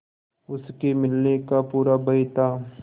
उसके मिलने का पूरा भय था